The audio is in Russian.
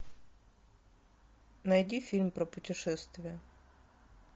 найди фильм про путешествия